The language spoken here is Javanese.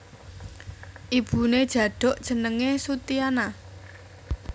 Ibuné Djaduk jenengé Soetiana